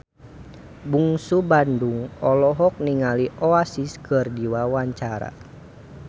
Bungsu Bandung olohok ningali Oasis keur diwawancara